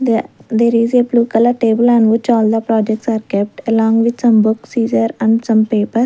the there is a blue colour table and which all the projects are kept along with some books is there and some paper.